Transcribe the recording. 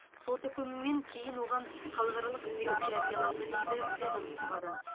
сот үкімінен кейін оған халықаралық іздеу жарияланды дейді ведомстводан